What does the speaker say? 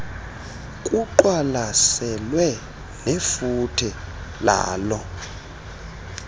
kuqwalaselwe nefuthe laloo